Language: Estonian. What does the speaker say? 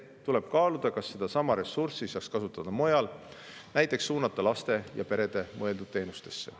Tuleb kaaluda, kas sedasama ressurssi saaks kasutada mujal, näiteks suunata lastele ja peredele mõeldud teenustesse.